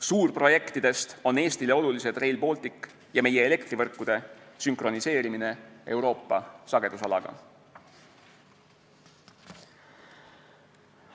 Suurprojektidest on Eestile olulised Rail Baltic ja meie elektrivõrkude sünkroniseerimine Euroopa sagedusalaga.